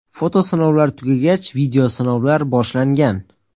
Foto sinovlar tugagach, video sinovlar boshlangan.